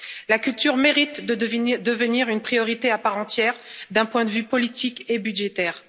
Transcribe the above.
La culture mérite de devenir une priorité à part entière, d'un point de vue politique et budgétaire.